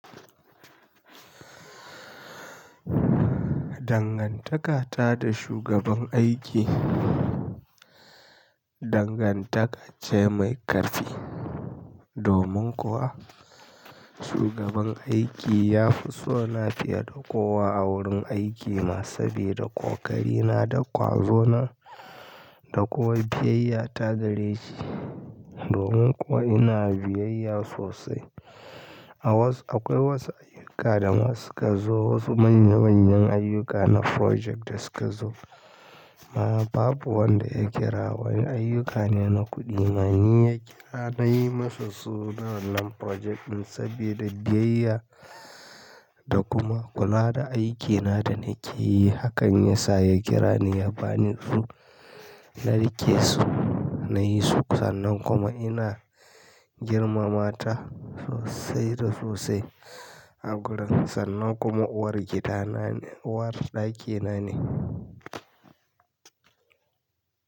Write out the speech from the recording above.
Dangantaka ta da shugaban aiki, dangantaka ce mai ƙarfi. Domin kuwa shugaban aiki ya fi so na fiye da kowa a wurin aiki, masu bi da ƙoƙari na da ƙwazo na da kowa biyayya ta gare shi. Domin kuwa ina biyayya sosai. Akwai wasu ayyuka da ma suka zo, wasu manya manyan ayyuka na project da suka zo ma. Babu wanda ya kira wani ayyuka ne na kuɗi. Ma ni ya kira na yi ma su su na wannan project ɗin saboda biyayya da kuma kula da aikina da nake yi. Hakan ya sa ya kira ni ya ba ni su. Na riƙe su, na yi su. Sannan kuma ina girmama ta sosai da sosai a gurin. Sannan kuma uwar gida na ne, uwar ɗaki na ne.